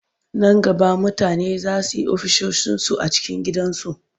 Nan gaba mutane za su yi ofisoshinsu a cikin gidansu.